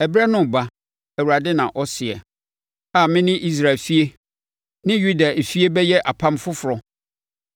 “Ɛberɛ no reba,” Awurade na ɔseɛ, “a me ne Israel efie ne Yuda efie bɛyɛ apam foforɔ.